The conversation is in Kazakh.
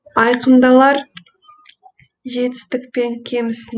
айқындалар жетістік пен кемісің